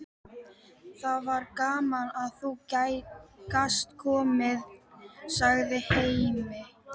Það var gaman að þú gast komið, segir Hemmi.